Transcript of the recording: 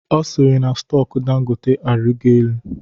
Ọ sịrị na stọku Dangote arịgo elu